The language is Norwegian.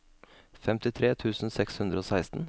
femtitre tusen seks hundre og seksten